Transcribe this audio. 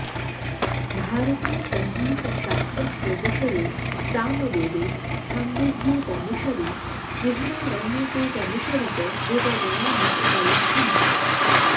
भारतीयसङ्गीतशास्त्रस्य विषये सामवेदे छान्दोग्योपनिषदि बृहदारण्यकोपनिषदि च विवरणानि उपलभ्यन्ते